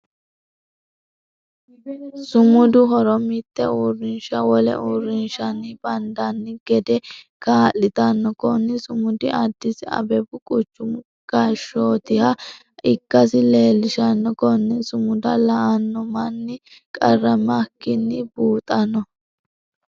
Sumudu horo mite uurinsha wole uurinshanni bandanni gede kaa'litano. Kunni sumudi adisi ababu quchumu qaashootiha ikasi leelishano. Konne sumuda la'ano manni qaramikinni buuxano.